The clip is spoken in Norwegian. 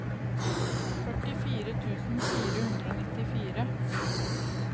førtifire tusen fire hundre og nittifire